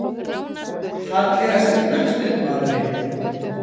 Fallegasti knattspyrnumaðurinn?